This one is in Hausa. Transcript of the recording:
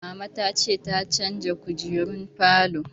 Mama ta ce ta canza kujerun falon